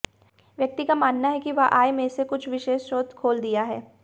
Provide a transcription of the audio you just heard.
व्यक्ति का मानना है कि वह आय में से कुछ विशेष स्रोत खोल दिया है